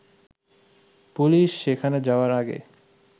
police সেখানে যাওয়ার আগে